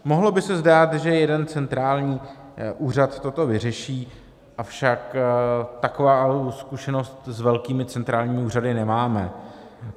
Mohlo by se zdát, že jeden centrální úřad toto vyřeší, avšak takovou zkušenost s velkými centrálními úřady nemáme.